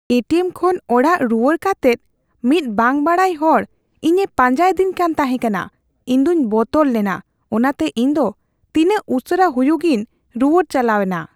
ᱮ T M ᱠᱷᱚᱱ ᱚᱲᱟᱜ ᱨᱩᱣᱟᱹᱲ ᱠᱟᱛᱮᱫ ᱢᱤᱫ ᱵᱟᱝ ᱵᱟᱰᱟᱭ ᱦᱚᱲ ᱤᱧᱮ ᱯᱟᱸᱡᱟᱭᱮᱫᱤᱧ ᱠᱟᱱ ᱛᱟᱦᱮᱠᱟᱱᱟ ᱾ ᱤᱧ ᱫᱚᱧ ᱵᱚᱛᱚᱨ ᱞᱮᱱᱟ ᱚᱱᱟᱛᱮ ᱤᱧ ᱫᱚ ᱛᱤᱱᱟᱹᱜ ᱩᱥᱟᱹᱨᱟ ᱦᱩᱭᱩᱜᱤᱧ ᱨᱩᱣᱟᱹᱲ ᱪᱟᱞᱟᱣᱮᱱᱟ ᱾